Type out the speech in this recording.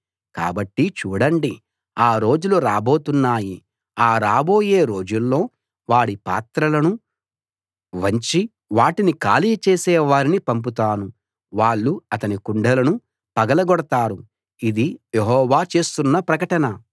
కాబట్టి చూడండి ఆ రోజులు రాబోతున్నాయి ఆ రాబోయే రోజుల్లో వాడి పాత్రలను వంచి వాటిని ఖాళీ చేసే వారిని పంపుతాను వాళ్ళు అతని కుండలను పగలగొడతారు ఇది యెహోవా చేస్తున్న ప్రకటన